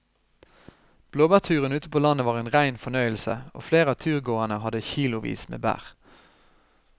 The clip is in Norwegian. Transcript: Blåbærturen ute på landet var en rein fornøyelse og flere av turgåerene hadde kilosvis med bær.